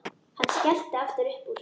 Hann skellti aftur upp úr.